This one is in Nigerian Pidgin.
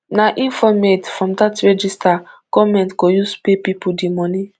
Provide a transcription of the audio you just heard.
na informate from dat register goment go use pay pipo di money